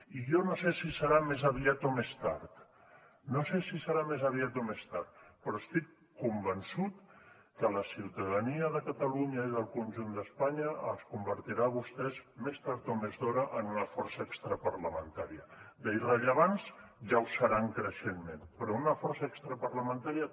i jo no sé si serà més aviat o més tard no sé si serà més aviat o més tard però estic convençut que la ciutadania de catalunya i del conjunt d’espanya els convertirà a vostès més tard o més d’hora en una força extraparlamentària d’irrellevants ja ho seran creixentment però una força extraparlamentària